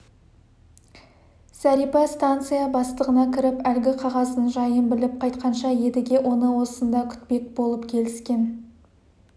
зәрипа станция бастығына кіріп әлгі қағаздың жайын біліп қайтқанша едіге оны осында күтпек болып келіскен